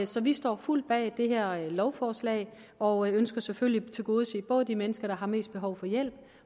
så vi står fuldt bag det her lovforslag og ønsker selvfølgelig at tilgodese både de mennesker der har mest behov for hjælp